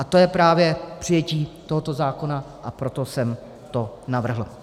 A to je právě přijetí tohoto zákona, a proto jsem to navrhl.